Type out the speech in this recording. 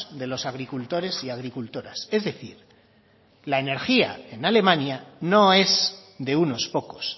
de los agricultores y agricultoras es decir la energía en alemania no es de unos pocos